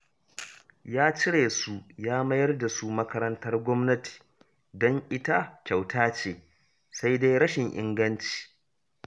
Ya cire su ya mayar da su makarantar gwamnati, don ita kyauta ce, sai dai rashin inganci